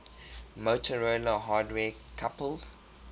motorola hardware coupled